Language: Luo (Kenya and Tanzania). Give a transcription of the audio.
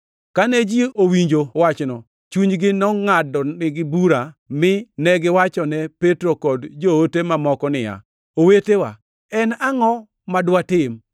Kane ji owinjo wachno, chunygi nongʼadonigi bura, mine giwachone Petro kod joote mamoko niya, “Owetewa, en angʼo ma dwatim?”